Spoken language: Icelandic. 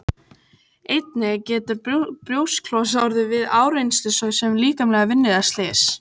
Einnig getur brjósklos orðið við áreynslu svo sem líkamlega vinnu eða slys.